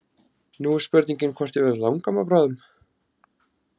Nú er spurningin hvort ég verði langamma bráðum.